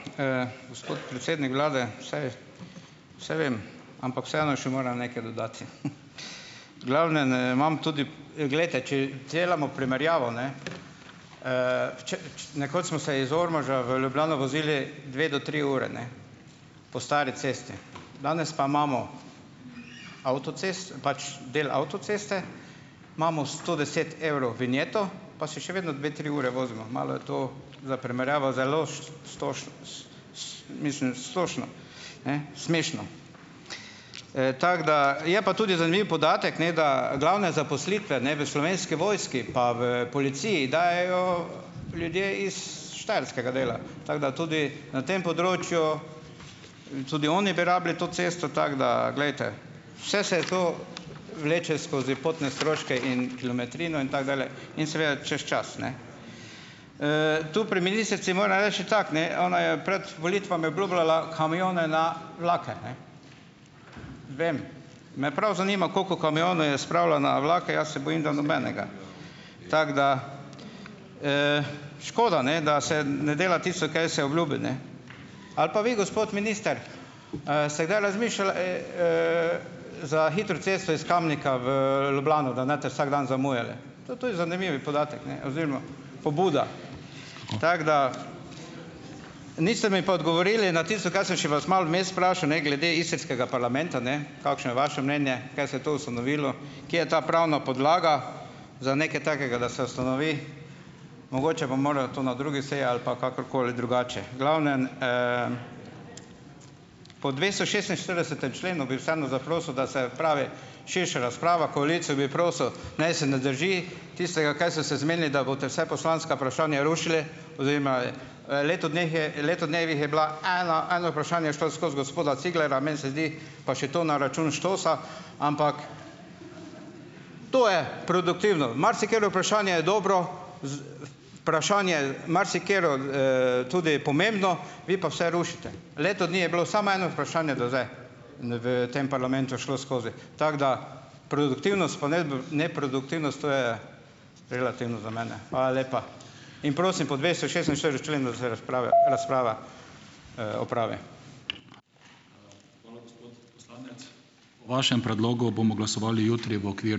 Ja, hvala. Gospod predsednik vlade, saj saj vem, ampak vseeno še moram nekaj dodati. V glavnem, imam tudi, glejte, če delamo primerjavo, ne, v nekoč smo se iz Ormoža v Ljubljano vozili dve do tri ure, ne, po stari cesti, danes pa imamo pač del avtoceste, imamo sto deset evrov vinjeto, pa se še vedno dve tri ure vozimo. Malo je to, za primerjavo, zelo smešno. Tako da je pa tudi zanimiv podatek, ne da glavne zaposlitve, ne, v Slovenski vojski pa v policiji, dajejo ljudje iz Štajerskega dela, tako da tudi na tem področju, tudi oni bi rabili to cesto, tako da, glejte, vse se to vleče skozi potne stroške in kilometrino in tako dalje in seveda, čez čas ne. Tu, pri ministrici moram reči tako ne - ona je pred volitvami obljubljala kamione na vlake. Vem, me prav zanima, koliko kamionov je spravila na vlake, jaz se bojim, da nobenega. Tako da, škoda, ne, da se ne dela tisto, kaj se obljubi, ne. Ali pa vi, gospod minister, ste kdaj razmišljali, za hitro cesto iz Kamnika v Ljubljano, da ne boste vsak dan zamujali? Tudi to je zanimivi podatek, ne, oziroma pobuda, tako da ... Niste mi pa odgovorili na tisto, kar sem še vas malo vmes vprašal, ne, glede istrskega parlamenta, ne kakšno je vaše mnenje? Kaj se je to ustanovilo? Kje je ta pravna podlaga za nekaj takega, da se ustanovi? Mogoče bom moral to na drugi seji ali pa kakorkoli drugače. V glavnem, po dvestošestinštiridesetem členu, bi vseeno zaprosil, da se opravi širša razprava. Koalicijo bi prosil, naj se ne drži tistega, kaj so se zmenili, da boste vsa poslanska vprašanja rušili, oziroma v letu dneh je letu dnevih je bila ena, eno vprašanje je šlo skozi, gospoda Ciglerja, meni se zdi, pa še to na račun "štosa", ampak to je produktivno. Marsikatero vprašanje je dobro, vprašanje marsikatero, tudi pomembno, vi pa vse rušite. Leto dni je bilo samo eno vprašanje do zdaj, v tem parlamentu šlo skozi. Tako da, produktivnost pa neproduktivnost, to je relativno za mene. Hvala lepa in prosim, po dvestošestinštiridesetem členu, da se razprave razprava, opravi.